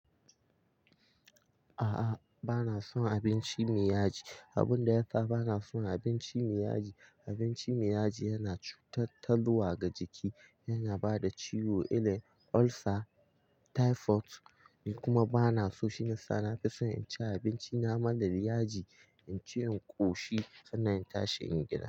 A'a, bana son abinci mai yaji. Abun da ya sa bana son abinci mai yaji, abinci mai yaji yana cutarwa ga jiki, yana bada ciwo, illar ulcer, typhoid ni kuma bana so. Shiyasa na fi son in ci abinci na marar yaji, in ci, in ƙoshi sannan in tashi in gida.